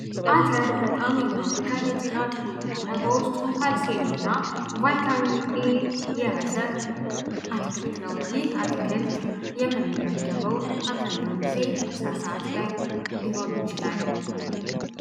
አtር በጣም የታወቀ ለጤና ጥሩ የሆነ በውስጡም ካልሴየም እና ቫይታሚን ኤ የያዘ አትክልት ነው። ይህ አትክልት የምንመገበው አብዛኛውን ጊዜ ምሳ ሰዓት ላይ ሊሆን ይችላል።